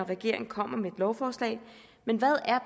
regeringen kommer med et lovforslag hvad